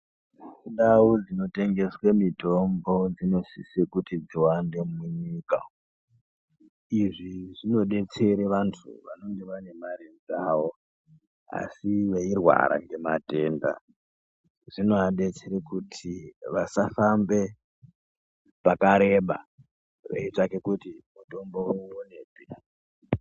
Mundau dzinotengeswe mitombo, dzinosise kuti dziwande munyika. Izvi zvinodetsere vanthu vanenge vanemari dzawo, asi veyirwara ngematenda. Zvinovadetsere kuti vasafambe pakareba veyitsvake kuti mitombo woyiwonepi.